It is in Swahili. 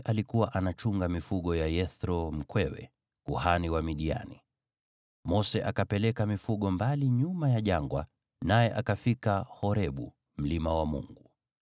Basi Mose alikuwa anachunga mifugo ya Yethro mkwewe, kuhani wa Midiani. Mose akapeleka mifugo mbali nyuma ya jangwa, naye akafika Horebu, mlima wa Mungu.